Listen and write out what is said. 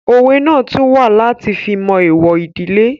Òwe náà tún wà láti fi mọ èèwọ̀ ìdílé